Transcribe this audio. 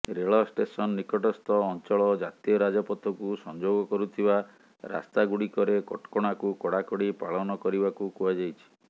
ରେଳ ଷ୍ଟେସନ ନିକଟସ୍ଥ ଅଞ୍ଚଳ ଜାତୀୟ ରାଜପଥକୁ ସଂଯୋଗ କରୁଥିବା ରାସ୍ତାଗୁଡ଼ିକରେ କଟକଣାକୁ କଡ଼ାକଡ଼ି ପାଳନ କରିବାକୁ କୁହାଯାଇଛି